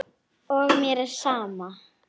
Þetta var ekki Lilla.